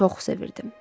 Çox sevirdim.